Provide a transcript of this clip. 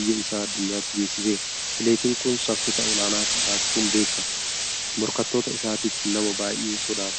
biyya isaa addunyaatti beeksiseera. Atileetiin kun saffisa olaanaa qabaachuun beekama. Morkattoota isaatiif nama baay'ee sodaatamaadha.